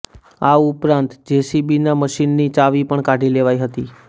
આ ઉપરાંત જેસીબીના મશીનની ચાવી પણ કાઢી લેવાઇ હતી